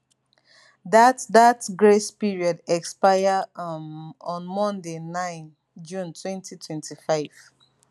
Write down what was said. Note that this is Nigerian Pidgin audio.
dat dat grace period expire um on monday 9 june 2025